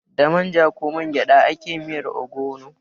Da manja ko mangyada ake yin miyar ogbono.